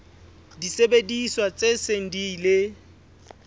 disebediswa tse seng di ile